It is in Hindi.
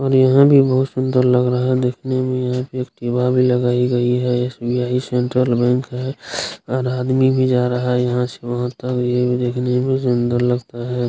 और यहां भी बहुत सुंदर लग रहा है देखने में यहां एक लगाई गई है एस.बी.आई. सेंट्रल बैंक है और आदमी भी जा रहा है यहां से वहां तक ये भी देखने में जनरल लगता है।